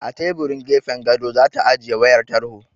A teburin gefen gado za ta ajiye wayar tarho.